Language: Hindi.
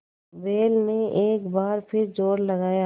बैल ने एक बार फिर जोर लगाया